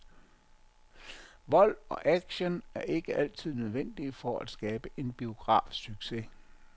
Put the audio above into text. Vold og action er ikke altid nødvendige for at skabe en biografsucces.